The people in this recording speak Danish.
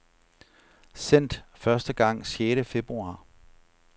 Sendt første gang sjette februar.